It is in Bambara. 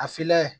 A filan ye